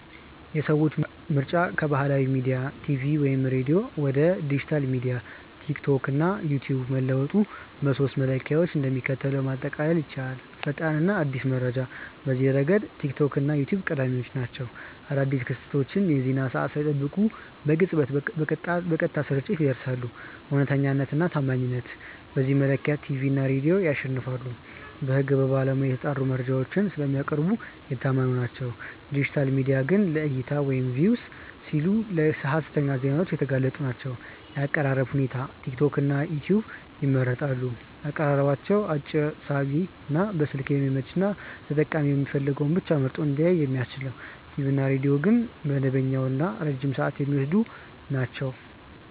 የሰዎች ምርጫ ከባህላዊ ሚዲያ (ቲቪ/ሬዲዮ) ወደ ዲጂታል ሚዲያ (ቲክቶክ/ዩትዩብ) መለወጡን በሦስቱ መለኪያዎች እንደሚከተለው ማጠቃለል ይቻላል፦ ፈጣንና አዲስ መረጃ፦ በዚህ ረገድ ቲክቶክ እና ዩትዩብ ቀዳሚ ናቸው። አዳዲስ ክስተቶችን የዜና ሰዓት ሳይጠብቁ በቅጽበትና በቀጥታ ስርጭት ያደርሳሉ። እውነተኛነትና ታማኝነት፦ በዚህ መለኪያ ቲቪ እና ሬዲዮ ያሸንፋሉ። በሕግና በባለሙያ የተጣሩ መረጃዎችን ስለሚያቀርቡ የታመኑ ናቸው፤ ዲጂታል ሚዲያዎች ግን ለዕይታ (Views) ሲሉ ለሀሰተኛ ዜናዎች የተጋለጡ ናቸው። የአቀራረብ ሁኔታ፦ ቲክቶክና ዩትዩብ ይመረጣሉ። አቀራረባቸው አጭር፣ ሳቢ፣ በስልክ የሚመች እና ተጠቃሚው የሚፈልገውን ብቻ መርጦ እንዲያይ የሚያስችል ነው። ቲቪ እና ሬዲዮ ግን መደበኛና ረጅም ሰዓት የሚወስዱ ናቸው።